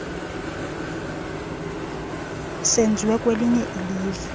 senziwe kwelinye ilzwe